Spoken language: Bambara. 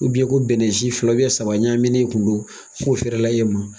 ko bɛnɛ ci fila saba ɲaminɛn kun don, k'o fɛrɛla e ma.